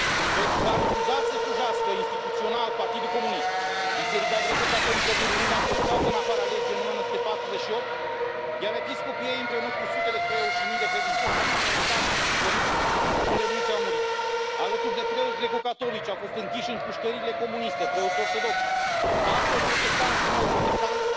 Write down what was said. Pentru că a refuzat să slujească instituțional Partidul Comunist, Biserica Greco Catolică din România a fost scoasă în afara legii în 1948, iar episcopii ei, împreună cu sute de preoți și mii de credincioși, au fost aruncați în pușcării, unde mulți au murit. Alături de preoți greco catolici, au fost închiși în pușcăriile comuniste preoți ortodocși, pastori protestanți și neoprotestanți,